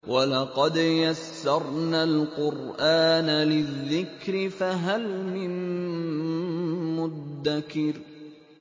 وَلَقَدْ يَسَّرْنَا الْقُرْآنَ لِلذِّكْرِ فَهَلْ مِن مُّدَّكِرٍ